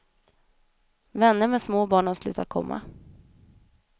Vänner med små barn har slutat komma.